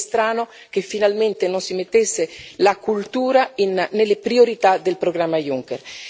sarebbe strano che finalmente non si mettesse la cultura nelle priorità del programma Juncker.